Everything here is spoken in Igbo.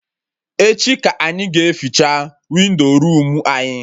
Echi ka anyị ga eficha windo room anyị